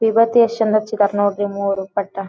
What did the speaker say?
ಇವತ್ತೇ ಎಷ್ಟ ಚಂದ ಹಚ್ಚಿದ್ರ್ ನೋಡ್ರಿ ಮೂವರು ಪಟ್ಟ.